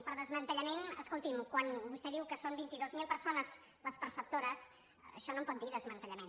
per desmantellament escolti quan vostè diu que són vint dos mil persones les perceptores d’això no en pot dir desmantellament